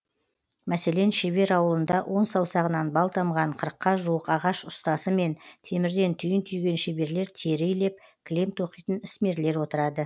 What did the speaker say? мәселен шебер ауылында он саусағынан бал тамған қырыққа жуық ағаш ұстасы мен темірден түйін түйген шеберлер тері илеп кілем тоқитын ісмерлер отырады